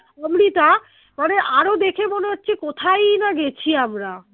অমৃতা মানে আরো দেখে মনে হচ্ছে কোথায় ই না গেছি আমরা